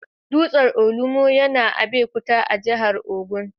Dutsen Olumo yana Abeokuta, a jihar Ogun.